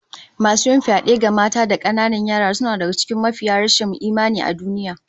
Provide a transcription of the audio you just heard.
Masu yin fyade ga mata da kananan yara suna daga cikin mafiya rashin imani a duniya